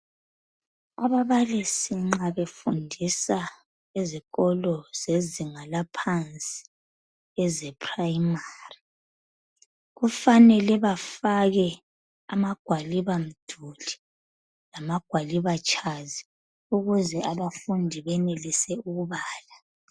Ababalisi nxa befundisa ezikolo zezinga laphansi eze primary kufanele bafake amagwalibamduli lamagwalibatshazi ukuze abafundi benelise ukubala.